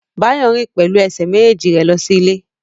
Báyọ̀ rìn pẹ̀lú ẹsẹ̀ méjèèjì rẹ̀ lọ sí ilé